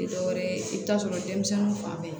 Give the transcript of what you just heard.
Tɛ dɔwɛrɛ ye i bɛ taa sɔrɔ denmisɛnninw fan bɛ